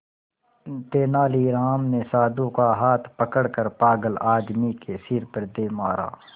तेनालीराम ने साधु का हाथ पकड़कर पागल आदमी के सिर पर दे मारा